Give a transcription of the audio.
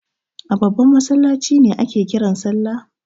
A babban masallaci ne ake kiran salla?